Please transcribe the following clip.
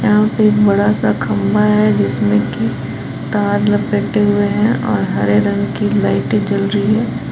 यहां पे एक बड़ा सा खंभा है जिसमें कि तार लपेटे हुए हैं और हरे रंग की लाइटें जल रही है।